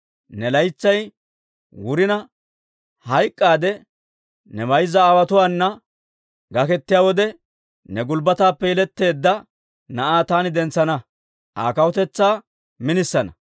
Ne laytsay wurina hayk'k'aadde, ne mayzza aawotuwaan gakettiyaa wode, ne gulbbataappe yeletteedda na'aa taani dentsana; Aa kawutetsaa minisana.